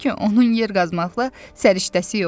onun yer qazmaqla səriştəsi yoxdur.